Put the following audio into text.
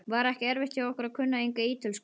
Var ekki erfitt hjá ykkur að kunna enga ítölsku?